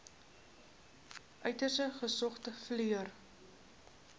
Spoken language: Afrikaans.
uiters gesogde verpleër